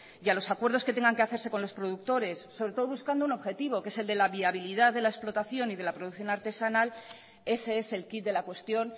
y a los acuerdos que tengan que hacerse con los productores sobre todo buscando un objetivo que es el de la viabilidad de la explotación y de la producción artesanal ese es el quid de la cuestión